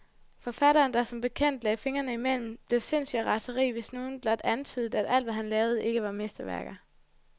Forfatteren, der som bekendt ikke lagde fingrene imellem, blev sindssyg af raseri, hvis nogen blot antydede, at alt, hvad han lavede, ikke var mesterværker.